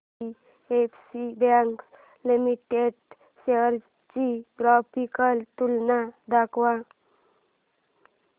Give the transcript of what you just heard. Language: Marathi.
आयडीएफसी बँक लिमिटेड शेअर्स ची ग्राफिकल तुलना दाखव